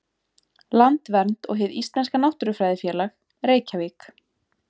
Landvernd og Hið íslenska náttúrufræðifélag, Reykjavík.